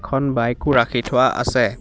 এখন বাইকো ৰাখি থোৱা আছে।